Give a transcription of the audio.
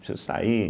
Preciso sair.